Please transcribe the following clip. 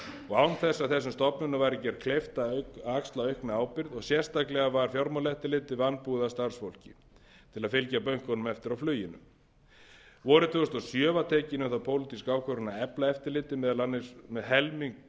og án þess að þess stofnunum væri gert kleift að axla aukna ábyrgð og sérstaklega var fjármálaeftirlitið vanbúið að starfsfólki til að fylgja bönkunum eftir á fluginu vorið tvö þúsund og sjö var tekin um það pólitísk ákvörðun að efla eftirlitið meðal annars með helmings